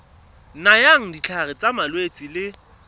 nayang ditlhare tsa malwetse le